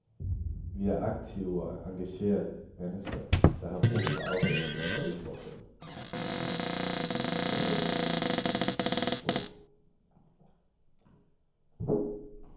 Vi er aktive og engagerede mennesker, der har brug for afveksling og udfordring.